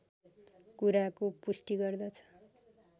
कुराको पुष्टि गर्दछ